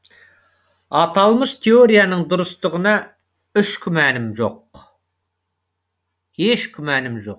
аталмыш теорияның дұрыстығына еш күмәнім жоқ